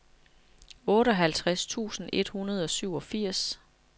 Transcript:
otteoghalvtreds tusind et hundrede og syvogfirs